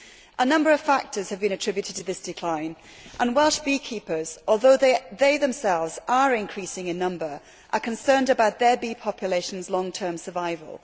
A number of factors have been attributed to this decline, and Welsh beekeepers although they themselves are increasing in number are concerned about their bee population's long term survival.